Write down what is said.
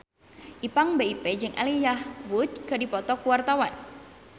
Ipank BIP jeung Elijah Wood keur dipoto ku wartawan